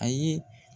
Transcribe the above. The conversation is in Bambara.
Ayi